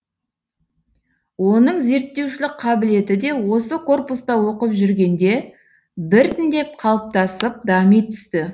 оның зерттеушілік қабілеті де осы корпуста оқып жүргенде біртіндеп қалыптасып дами түсті